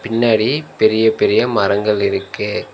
பின்னாடி பெரிய பெரிய மரங்கள் இருக்கு.